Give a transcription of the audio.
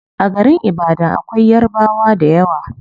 A garin ibadan akwai yarabwa dayawa